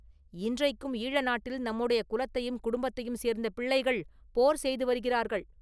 இன்றைக்கும் ஈழ நாட்டில் நம்முடைய குலத்தையும் குடும்பத்தையும் சேர்ந்த பிள்ளைகள் போர் செய்து வருகிறார்கள்.